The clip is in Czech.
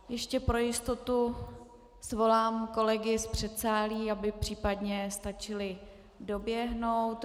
Ještě pro jistotu svolám kolegy z předsálí, aby případně stačili doběhnout.